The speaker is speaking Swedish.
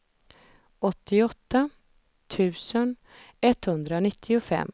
åttioåtta tusen etthundranittiofem